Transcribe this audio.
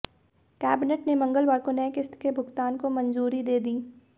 cabinet ने मंगलवार को नई किश्त के भुगतान को मंजूरी दे दी